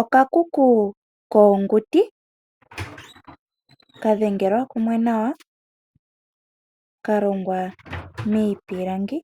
Okakuku koonguti ka dhengelwa kumwe nawa kalongwa miipilangi